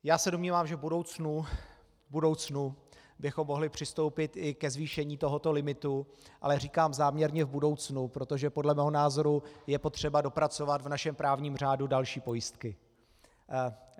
Já se domnívám, že v budoucnu bychom mohli přistoupit i ke zvýšení tohoto limitu, ale říkám záměrně v budoucnu, protože podle mého názoru je potřeba dopracovat v našem právním řádu další pojistky.